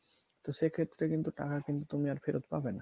তো সেই ক্ষেত্রে কিন্তু টাকা কিন্তু তুমি আর ফেরত পাবে না